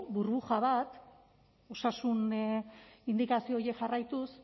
burbuja bat osasun indikazio horiek jarraituz